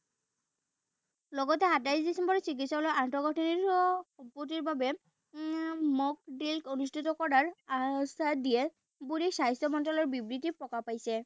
লগতে আঠাইশ ডিচেম্বৰত চিকিৎসালয়ৰ আন্তঃগাথঁনিৰো পুঁজিৰ বাবে উম অনুষ্ঠিত কৰাৰ আশ্বাস দিয়ে বুলি স্বাস্থ্য মন্ত্ৰালয়ৰ বিবৃতিত প্ৰকাশ পাইছে।